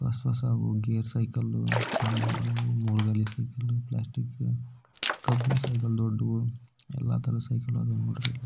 ಹೊಸ ಹೊಸ gear cycle ಸಣ್ಣ ಹುಡುಗೂರು ಮೂರ್ ಗಾಲಿ ಸೈಕಲ್ ಪ್ಲಾಸ್ಟಿಕ್ ಕಬ್ಬಿಣ ಸೈಕಲ್ ಎಲ್ಲ ತರಹದ ಸೈಕಲ್ ಇದಾವು--